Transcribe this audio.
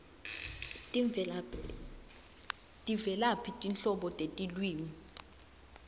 tivelaphi tinhlobo tetilwimi